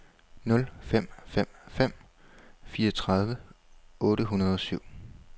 nul fem fem fem fireogtredive otte hundrede og syv